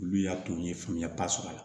Olu y'a to n ye faamuya sɔrɔ a la